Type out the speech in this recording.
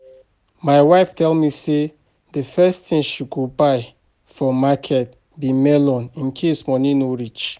My wife tell me say the first thing she go buy for market be melon in case money no reach